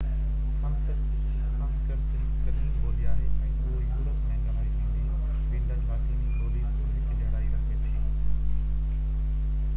سنسڪرت هڪ قديم ٻولي آهي ۽ اهو يورپ ۾ ڳالهائي ويندڙ لاطيني ٻولي سان هڪجهڙائي رکي ٿي